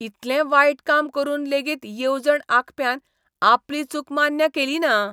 इतलें वायट काम करून लेगीत येवजण आंखप्यान आपली चूक मान्य केलीना.